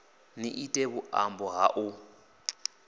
ni ite vhuṱambo ha u